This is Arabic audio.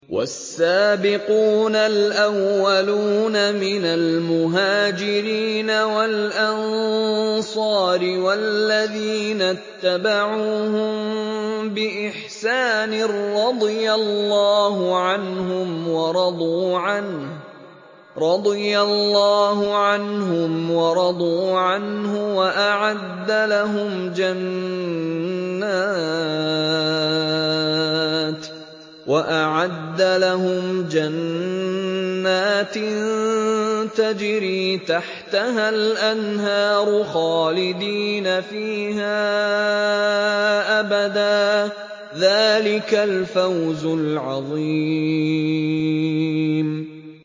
وَالسَّابِقُونَ الْأَوَّلُونَ مِنَ الْمُهَاجِرِينَ وَالْأَنصَارِ وَالَّذِينَ اتَّبَعُوهُم بِإِحْسَانٍ رَّضِيَ اللَّهُ عَنْهُمْ وَرَضُوا عَنْهُ وَأَعَدَّ لَهُمْ جَنَّاتٍ تَجْرِي تَحْتَهَا الْأَنْهَارُ خَالِدِينَ فِيهَا أَبَدًا ۚ ذَٰلِكَ الْفَوْزُ الْعَظِيمُ